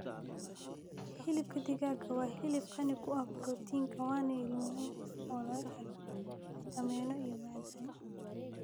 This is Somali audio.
Hilibka digaaga waa hilib qani ku ah borotiinka waana il muhiim ah oo laga helo fiitamiino iyo macdan.